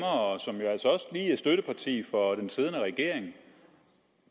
også er støtteparti for den siddende regering